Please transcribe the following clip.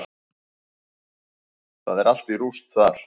Það er allt í rúst þar.